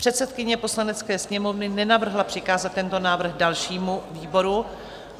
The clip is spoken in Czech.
Předsedkyně Poslanecké sněmovny nenavrhla přikázat tento návrh dalšímu výboru.